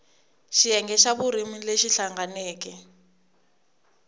xiyenge xa vurimi lexi hlanganeke